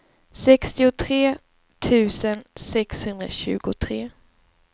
sextiotre tusen sexhundratjugotre